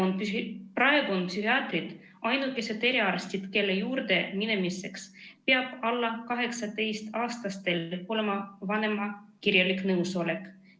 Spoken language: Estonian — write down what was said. Praegu on psühhiaatrid ainukesed eriarstid, kelle juurde minemiseks peab alla 18-aastastel olema vanema kirjalik nõusolek.